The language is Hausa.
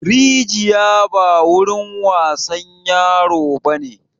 Rijiya ba wurin wasan yaro bane!